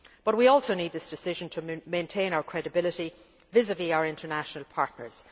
We also need this decision to maintain our credibility vis vis our international partners.